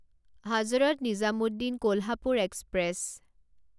Hazrat Nizamuddin Kolhapur express